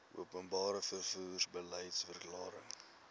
openbare vervoer beliedsverklaring